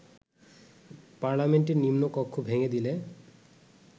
পার্লামেন্টের নিম্নকক্ষ ভেঙে দিলে